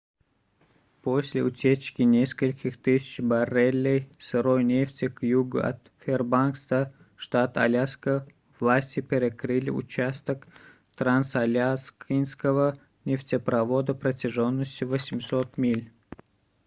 после утечки нескольких тысяч баррелей сырой нефти к югу от фэрбанкса штат аляска власти перекрыли участок трансаляскинского нефтепровода протяженностью 800 миль